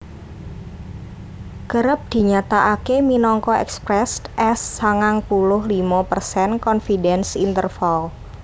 Kerep dinyatakaké minangka expressed as sangang puluh limo persen confidence interval